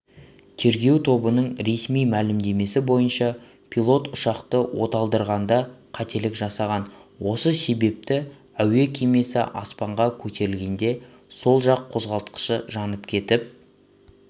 тергеу тобының ресми мәлімдемесі бойынша пилот ұшақты оталдырғанда қателік жасаған осы себепті әуе кемесі аспанға көтерілгенде сол жақ қозғалтқышы жанып кетіп